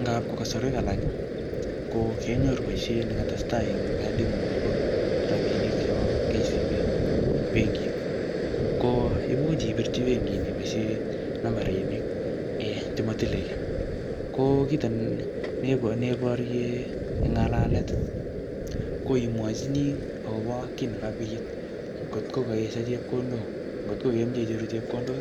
Ngapko kasarwek alak, ko kenyoru boisiet nekatestai eng kadingung nebo rabinik chebo KCB ing benkit. Ko imuch ipirchi benkit nii iboisie nambarinik um che matile kiy. Ko kito ne neiborye eng ng'alalet, ko imwochini akobo kit nekabit. Ngotko kaesho chepkondok, ngotko kameche icheru chepkondok,